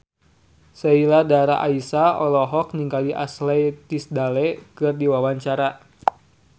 Sheila Dara Aisha olohok ningali Ashley Tisdale keur diwawancara